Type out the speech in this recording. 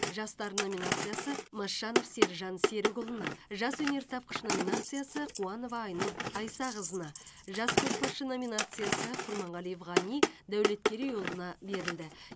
жас дарын номинациясы масжанов серіжан серікұлына жас өнертапқыш номинациясы қуанова айнұр айсақызына жас көшбасшы номинациясы құрманғалиев ғани дәулеткерейұлына берілді